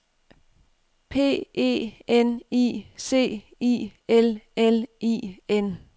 P E N I C I L L I N